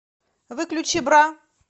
выключи бра